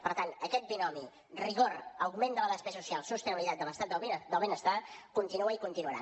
per tant aquest binomi rigor augment de la despesa social sostenibilitat de l’estat del benestar continua i continuarà